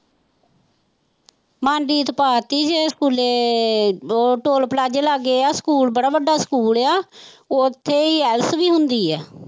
ਮਨਜੀਤ ਪਾ ਦਿੱਤੀ ਸੀ ਸਕੂਲੇ ਉਹ ਟੋਲ ਪਲਾਜੇ ਲਾਗੇ ਆ ਸਕੂਲ ਬੜਾ ਵੱਡਾ ਸਕੂਲ ਆ ਉੱਥੇ ਹੀ ielts ਵੀ ਹੁੰਦੀ ਹੈ